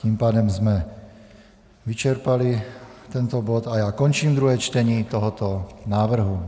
Tím pádem jsme vyčerpali tento bod a já končím druhé čtení tohoto návrhu.